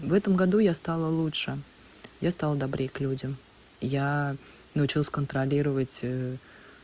в этом году я стала лучше я стал добрее к людям я научился контролировать